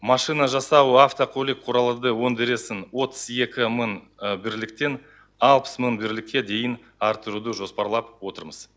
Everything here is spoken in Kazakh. машина жасау автокөлік өндірісін отыз екі мың бірліктен алпыс мың бірлікке дейін арттыруды жоспарлап отырмыз